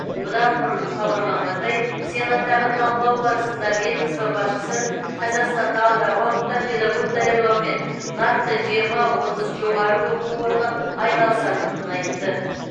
бұдан бұрын хабарланғандай сенаттағы талқылау барысында ведомство басшысы қазақстанда алдағы уақытта педагог даярлаумен нақты жиырма отыз жоғары оқу орны айналысатынын айтты